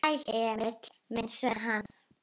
Sæll, Emil minn, sagði hann.